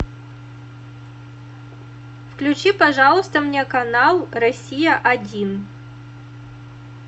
включи пожалуйста мне канал россия один